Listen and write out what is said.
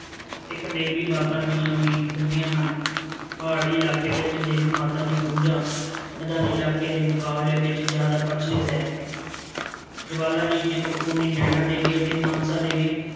ਇੱਕ ਦੇਵੀ ਮਾਤਾ ਦੀਆਂ ਵੀ ਲੱਭੀਆਂ ਹਨ, ਪਹਾੜੀ ਇਲਾਕੇ ਵਿੱਚ ਦੇਵੀ ਮਾਤਾ ਦੀ ਪੂਜਾ, ਮੈਦਾਨੀ ਇਲਾਕੇ ਦੇ ਮੁਕਾਬਲੇ ਵਿੱਚ ਜ਼ਿਆਦਾ ਪ੍ਰਚਲਿਤ ਹੈ ਜਵਾਲਾ ਜੀ, ਚਿੰਤਪੂਰਨੀ, ਨੈਣਾਦੇਵੀ ਅਤੇ ਮਨਸਾ ਦੇਵੀ